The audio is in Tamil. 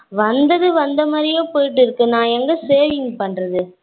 வந்தது வந்த மாதிரியே போய்கிட்டு இருக்கு. நான் எங்க savings பண்றது